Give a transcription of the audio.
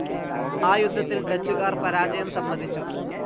ആ യുദ്ധത്തിൽ ഡച്ചുകാർ പരാജയം സമ്മതിച്ചു.